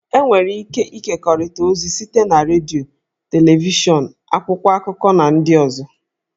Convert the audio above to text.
E nwere ike ịkekọrịta ozi site na redio, televishọn, akwụkwọ akụkọ, na ndị ọzọ